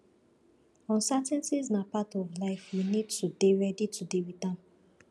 uncertainties na part of life we need to dey ready to deal with am